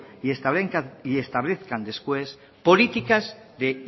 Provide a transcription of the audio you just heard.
y establezcan después políticas de